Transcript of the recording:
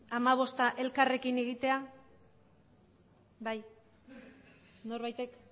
hamabosta elkarrekin egitea bai norbaitek